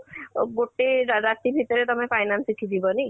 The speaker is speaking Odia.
ଅ ଗୋଟେ ରା ରାତି ଭିତରେ ତମେ finance ଶିଖି ଯିବନି